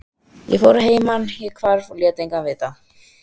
Ég fór að heiman, ég hvarf og lét engan vita.